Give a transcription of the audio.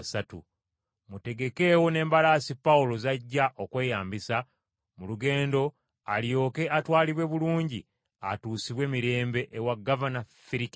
Mutegekeewo n’embalaasi Pawulo z’ajja okweyambisa mu lugendo alyoke atwalibwe bulungi atuusibwe mirembe ewa Gavana Ferikisi.”